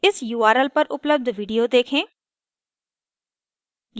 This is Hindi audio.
इस url पर उपलब्ध video देखें